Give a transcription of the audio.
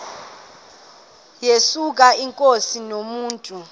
yesuka inkosi inomntu